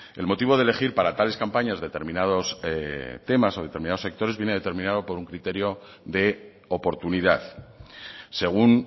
el motivo de elegir para tales campañas determinados temas o determinados sectores viene determinado por un criterio de oportunidad según